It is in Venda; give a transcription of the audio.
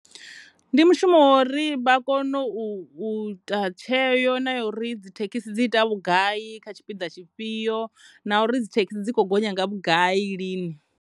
Ndi mushumo wa uri vha kone u ita tsheo na ya uri dzithekhisi dzi ita vhugai kha tshipiḓa tshifhio na uri dzithekhisi dzi kho gonya nga vhugai lini.